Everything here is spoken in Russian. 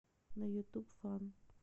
на ютуб фан